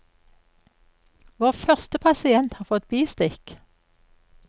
Vår første pasient har fått bistikk.